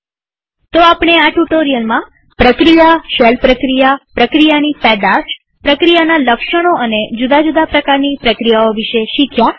તો આપણે આ ટ્યુ્ટોરીઅલમાં પ્રક્રિયાશેલ પ્રક્રિયાપ્રક્રિયાની પેદાશપ્રક્રિયાના લક્ષણો અને જુદા જુદા પ્રકારની પ્રક્રિયાઓ વિશે શીખ્યા